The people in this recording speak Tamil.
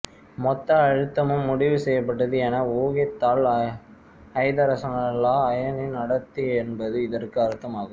மொத்த அழுத்தமும் முடிவு செய்யப்பட்டது என ஊகித்தால் ஐதரசனல்லா அயனின் அடர்த்தி என்பது இதற்கு அர்த்தமாகும்